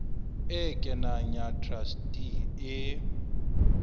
e kenang ya truste e